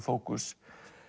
fókus